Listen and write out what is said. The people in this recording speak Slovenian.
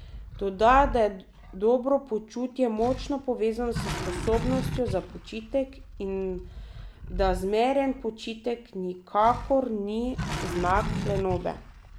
Dodaja, da je dobro počutje močno povezano s sposobnostjo za počitek in da zmeren počitek nikakor ni znak lenobe.